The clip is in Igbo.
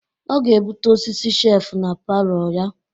Ọ ga-ebute ọsịsị shef na palọ ya.